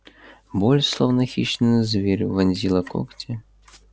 боль словно хищный зверь вонзила когти